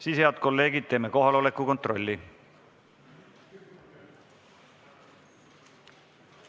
Siis, head kolleegid, teeme kohaloleku kontrolli.